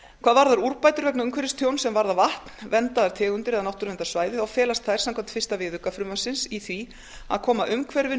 hvað varðar úrbætur vegna umhverfistjóns sem varða vatn verndaðar tegundir eða náttúruverndarsvæði felast þær samkvæmt fyrsta viðauka frumvarpsins í því að koma umhverfinu